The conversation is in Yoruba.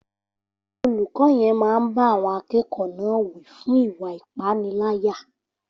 Olùkọ́ yen máa báá àwọn akẹ́kọ̀ọ́ náà wí fún ìwá ìpaniláyà